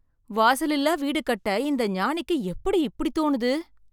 வாசலிலா வீடு கட்ட இந்த ஞானிக்கு எப்படி இப்படி தோனுது